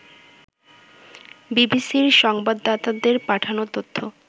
বিবিসির সংবাদদাতাদের পাঠানো তথ্য